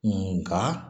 Nka